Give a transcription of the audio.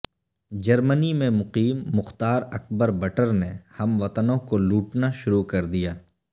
جرمنی میں مقیم مختار اکبر بٹر نے ہم وطنوں کو لوٹنا شروع کر دیا